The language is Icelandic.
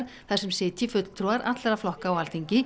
þar sem sitji fulltrúar allra flokka á Alþingi